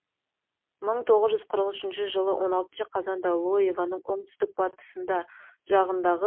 мың тоғыз жүз қырық үшінші жылы он алтыншы қазанда лоевоның оңтүстік батысында жағындағы